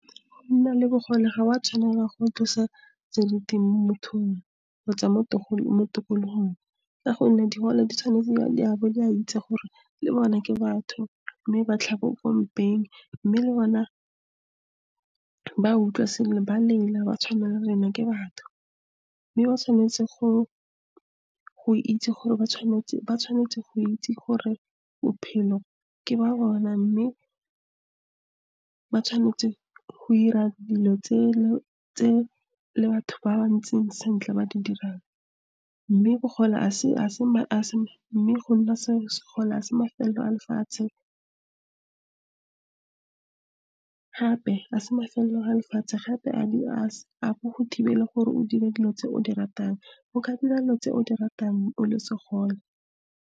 Go nna le bogole, ga wa tshwanela go tlosa seriti mo mothong, kgotsa mo tikologong, ka gonne digole di tshwanetse ya bo di a itse gore le bone ke batho mme ba kwa malapeng, mme le bona ba utlwa sengwe, ba lela ba tshwana ke batho. Mme ba tshwanetse go itse gore ba tshwanetse go ira gore bophelo ke ba bona mme, ba tshwanetse go ira dilo tse le batho ba ba ntseng sentle ba di dirang, mme bogole mme go nna segole ga se mafelelo a lefatshe, gape a se mafelelo a lefatshe gape a go go thibele gore o dire dilo tse o di ratang, o ka dira dilo tse o di ratang o le segole.